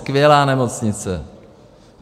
Skvělá nemocnice.